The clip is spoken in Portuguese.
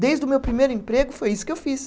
Desde o meu primeiro emprego foi isso que eu fiz.